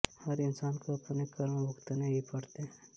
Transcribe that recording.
हर इंसान को अपने कर्म भुगतने ही पड़ते हैं